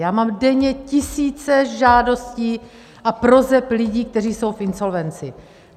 Já mám denně tisíce žádostí a proseb lidí, kteří jsou v insolvenci!